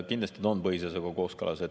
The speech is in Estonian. Kindlasti see on põhiseadusega kooskõlas.